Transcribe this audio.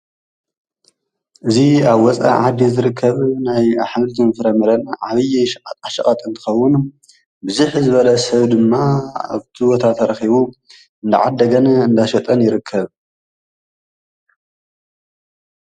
እዚ ኣብ ወፃኢ ዓዲ ዝርከብ ናይ ኣሕምልትን ፍረ ምረን ዓብዪ ሸቀጣሸቀጥ እንትከዉን ብዝሕ ዝበለ ሰብ ድማ ኣብቲ ቦታ ተረኪቡ እንዳ ዓደገ እንዳ ሸጠን ይርከብ ።